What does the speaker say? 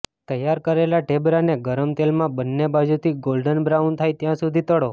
તૈયાર કરેલા ઢેબરાને ગરમ તેલમાં બન્ને બાજુથી ગોલ્ડન બ્રાઉન થાય ત્યાં સુધી તળો